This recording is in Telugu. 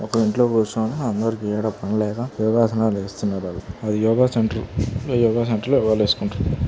ఒక ఇంట్లో కుసిని అందరికి ఎడ పనిలేక యోగాసనాలు వేస్తున్నారు ఆలు అది యోగ సెంటర్ అ యోగ సెంటర్ లో వాళ్ళు వేకుంటూ--